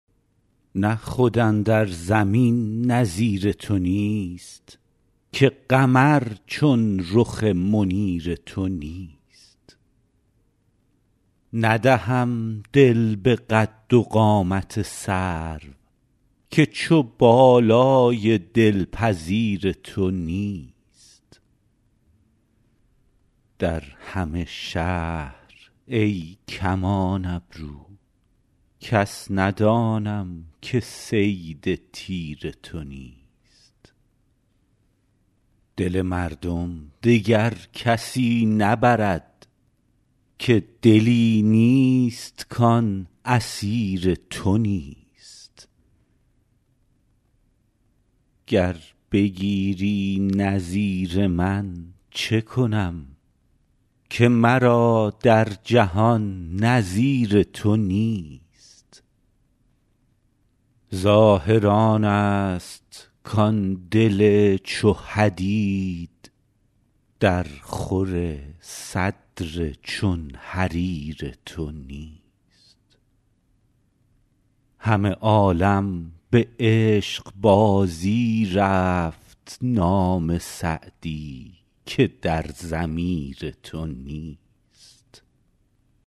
نه خود اندر زمین نظیر تو نیست که قمر چون رخ منیر تو نیست ندهم دل به قد و قامت سرو که چو بالای دلپذیر تو نیست در همه شهر ای کمان ابرو کس ندانم که صید تیر تو نیست دل مردم دگر کسی نبرد که دلی نیست کان اسیر تو نیست گر بگیری نظیر من چه کنم که مرا در جهان نظیر تو نیست ظاهر آنست کان دل چو حدید درخور صدر چون حریر تو نیست همه عالم به عشقبازی رفت نام سعدی که در ضمیر تو نیست